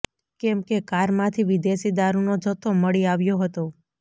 કેમ કે કારમાંથી વિદેશી દારૂનો જથ્થો મળી આવ્યો હતો